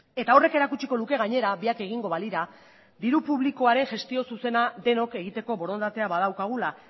eta horrek erakutsiko luke gainera biak egingo balira diru publikoa ere gestio zuzena denok egiteko borondatea badaukagula